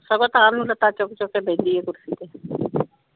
ਸਗੋਂ ਤਾਂ ਨੂੰ ਲੱਤ ਚੱਕ ਚੱਕ ਕ ਬਹਿੰਦੀ ਆਏ ਕੁਰਸੀ ਤੇ।